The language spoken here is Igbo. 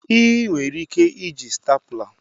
Ị nwere ike iji stapler.